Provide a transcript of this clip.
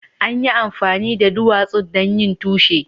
An yi amfani da duwatsun don yin tushe.